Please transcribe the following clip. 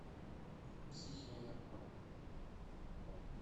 психея